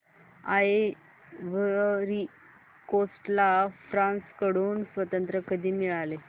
ivory Coast ला France कडून स्वातंत्र्य कधी मिळाले